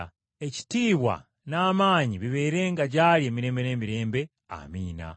Ekitiibwa n’amaanyi bibeerenga gy’ali emirembe n’emirembe. Amiina.